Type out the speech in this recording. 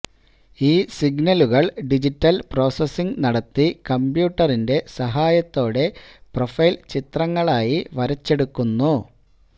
ഈ സിഗ്നലുകൾ digital processing നടത്തി കംപ്യൂട്ടറിന്റെ സഹായത്തോടെ പ്രൊഫൈൽ ചിത്രങ്ങളായി വരച്ചെടുക്കുന്നു